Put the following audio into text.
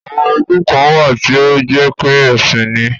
Àwon iku kàn wà tí ó jépé èsín ni.